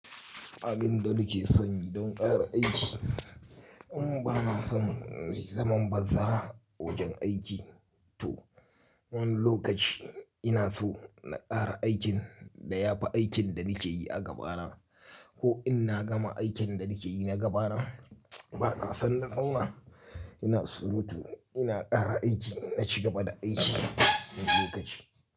Abin da nake son yi don ƙara aiki, in ba na son zaman banza wajen aiki. To, wani lokaci ina so na ƙara aikin da ya fi aikin da nake yi a gaba na. Ko in na gama aikin da nake yi na gaba na, ba na son na zauna. Ina surutu, ina ƙara aiki, na cigaba da aiki wani lokaci.